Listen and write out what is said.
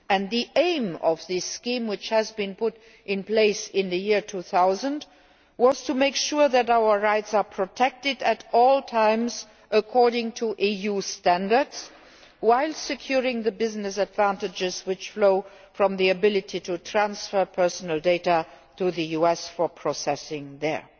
The aim of this scheme, which was put in place in the year 2000, was to make sure that our rights are protected at all times according to EU standards, while securing the business advantages which flow from the ability to transfer personal data to the US for processing there.